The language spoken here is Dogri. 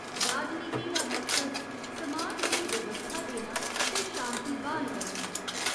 राजनीति दा मकसद समाज गी व्यवस्था देना ते शांति ब्हाल करना ऐ।